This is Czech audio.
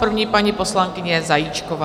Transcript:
První paní poslankyně Zajíčková.